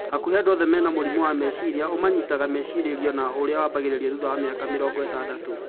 Hakuhĩ andũ othe mena mũrimũ wa meciria, ũmanyitaga macereirwo na ũrĩa wambagĩrĩria thutha wa mĩaka mĩrongo ĩtandatũ